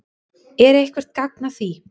Er eitthvert gagn að því?